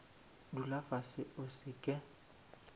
dula fase o se ke